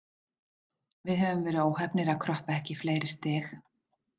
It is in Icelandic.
Við höfum verið óheppnir að kroppa ekki í fleiri stig.